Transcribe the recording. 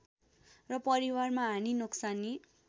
र परिवारमा हानि नोक्सानी